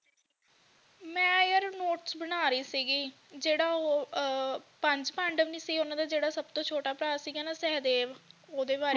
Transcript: ਮੈਂ ਯਾਰ ਨੋਟਸ ਬਣਾ ਰਹੀ ਸੀਗੀ ਜਿਹੜਾ ਓਹੋ ਅਹ ਪੰਜ ਪਾਂਡਵ ਨਹੀਂ ਸੀ ਉਨ੍ਹਾਂ ਦਾ ਜਿਹੜਾ ਸਭ ਤੋਂ ਛੋਟਾ ਭਰਾ ਸੀਗਾ ਨਾ ਸਹਿਦੇਵ ਓਹਦੇ ਬਾਰੇ